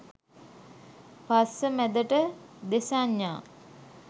පස්ස මැදට දෙසඤ්ඤා